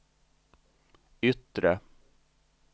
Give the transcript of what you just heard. yttre